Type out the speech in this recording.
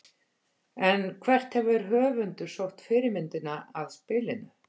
En hvert hefur höfundur sótt fyrirmyndina að spilinu?